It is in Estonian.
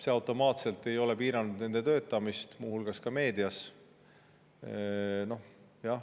See automaatselt ei piira nende töötamist muu hulgas meedias.